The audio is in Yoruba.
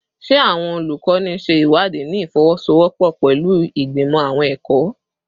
Ṣe awọn olukọni ṣe iwadii ni ifowosowopo pẹlu Igbimọ Awọn ẹkọ?